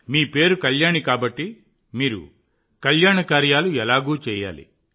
మీ పేరు కళ్యాణి కాబట్టి మీరు కళ్యాణకార్యాలు ఎలాగూ చేయాలి